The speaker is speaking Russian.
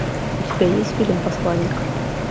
у тебя есть фильм посланник